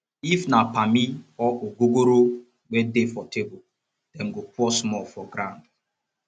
if na pammy or ogogoro wey dey for table dem go pour small for groumd